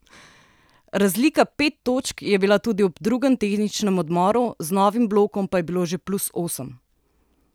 Razlika pet točk je bila tudi ob drugem tehničnem odmoru, z novim blokom pa je bilo že plus osem.